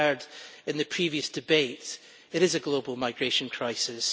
As we heard in the previous debate, it is a global migration crisis.